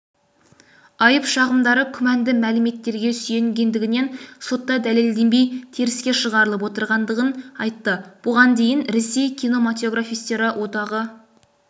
айып-шағымдары күмәнді мәліметтерге сүйенгендігінен сотта дәлелденбей теріске шығарылып отырғандығын айтты бұған дейін ресей кинематографистері одағы